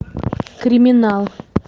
криминал